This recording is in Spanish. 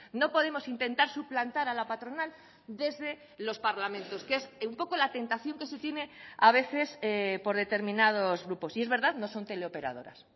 no podemos intentar suplantar a la patronal desde los parlamentos que es un poco la tentación que se tiene a veces por determinados grupos y es verdad no son teleoperadoras